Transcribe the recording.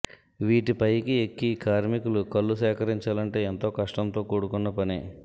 వీటి పైకి ఎక్కి కార్మికులు కల్లు సేకరించాలంటే ఎంతో కష్టంతో కూడుకున్న పని